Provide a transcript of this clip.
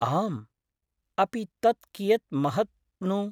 आम्, अपि तत् कियत् महत् नु ?